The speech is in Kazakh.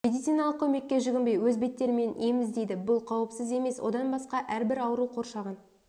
медициналық көмекке жүгінбей өз беттерімен ем іздейді бұл қауіпсіз емес одан басқа әрбір ауру қоршаған